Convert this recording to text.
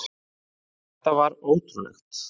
Þetta var ótrúlegt.